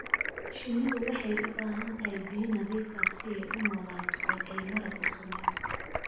Shinnidu waxay u baahan tahay biyo nadiif ah si ay u noolaato oo ay malab u samayso.